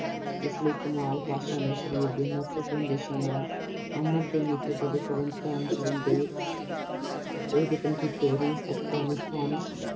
ਇਸ ਲਈ Kemal Pasha ਨੇ ਮਹੱਤਵ ਪੂਰਨ ਦੇਸ਼ਾ ਨਾਲ ਅਮਨ ਅਤੇ ਮਿੱਤਰਤਾ ਦੇ ਸੰਬੰਧ ਪੈਣ ਨਾਲ ਇਹ ਯਤਨ ਕੀਤੇ ਰੂਸ ਅਫਗਾਨਿਸਤਾਨ